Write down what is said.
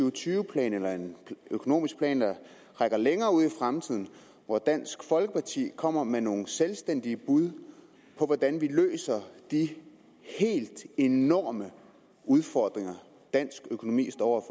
og tyve plan eller en økonomisk plan der rækker længere ud i fremtiden en hvor dansk folkeparti kommer med nogle selvstændige bud på hvordan vi løser de helt enorme udfordringer dansk økonomi står